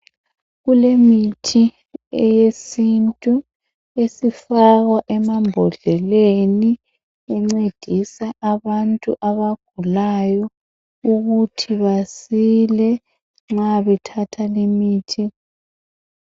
Kulemithi eyesintu esifakwa emabhodleleni encedisa abantu abagulayo ukuthi basile nxa bethatha limithi.